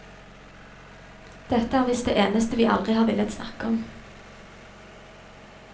Dette er visst det eneste vi aldri har villet snakke om.